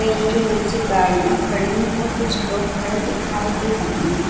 पेड़ के नीचे गाडियां खड़ी है और कुछ लोग खड़े दिखाई दे रहे हैं।